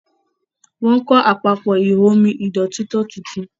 Wón kò Àpapọ̀ ihò omi ìdọ̀tító títún.